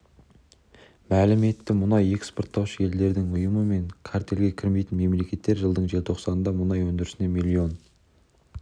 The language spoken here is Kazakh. мәлім етті мұнай экспорттаушы елдердің ұйымы мен картельге кірмейтін мемлекеттер жылдың желтоқсанында мұнай өндірісін млн